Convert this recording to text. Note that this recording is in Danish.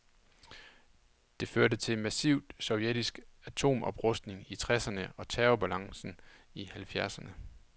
Det førte til massiv sovjetisk atomoprustning i tresserne og terrorbalancen i halvfjerdserne.